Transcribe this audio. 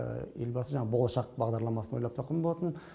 елбасы жаңағы болашақ бағдарламасын ойлап тапқан болатын